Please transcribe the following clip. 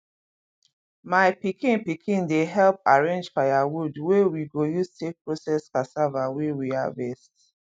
my pikin pikin dey help arrange firewood wey we go use take process cassava wey we harvest